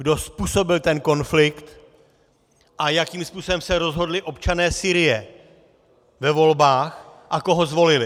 Kdo způsobil ten konflikt a jakým způsobem se rozhodli občané Sýrie ve volbách a koho zvolili?